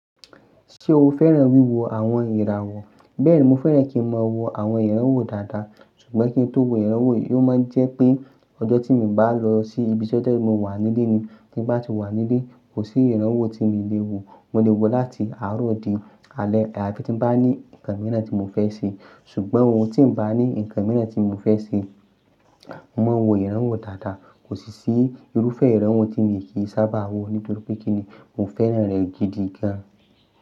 Ṣé o fẹ́ràn wíwo àwọn ìràwọ̀? Bẹ́ẹ̀ni, mo fẹ́ràn kí n máa wo àwọn ìràwọ̀ dáadáa ṣùgbọ́n kí n tó wo ìràwọ̀ yóò máa jẹ́ pé ọjọ́ tí mo bá lọ sí ibiṣẹ́ jẹ́ mo wà nílé ni. Tí n bá ti wà nílé, kò sí ìràwọ̀ tí mi lè wo. Mo lè wo láti àárọ̀ di alẹ́ àbí tí n bá ní nǹkan mìíràn tí mo fẹ́ ṣe. Ṣùgbọ́n ohun tí n bá ní nǹkan mìíràn tí mo fẹ́ ṣe, mo máa wo ìràwọ̀ dáadáa. Kò sí i irúfẹ́ ìràwọ̀ tí mi kì í sábà wo nítorí pé kí ni mo fẹ́ràn rẹ̀ gidi gan.